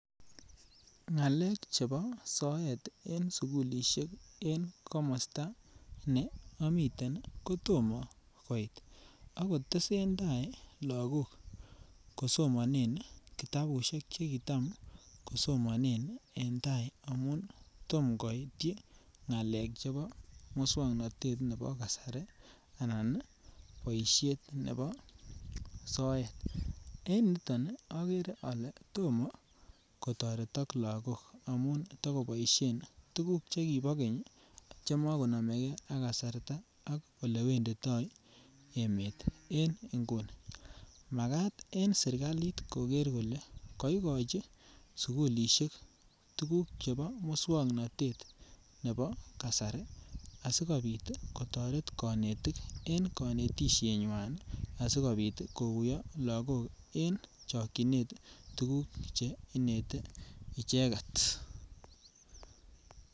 Ngakek chebo soet en sukulisiek en komosta neamiten kotomo koit ak kotesentai lagok kosomonen kitabusiek chekitam kosomonen en tai amun tomo koityi ngaleek chebo moswoknatetab kasari anan boisiet nebo soet en yuto agere ale tomo kotoret lagok amun tagoboisien tuguk chekibo keny ak makononomeke ak kasarta ak olewenditoi emet en nguni Makat en sirkali koker kole kogochi sukulisiek tuguk chebo moswoknatet nebo kasari asikobit kotoret konetik en konetisienywa asikokuyo lagok en chokyinet tuguk chekinete icheget.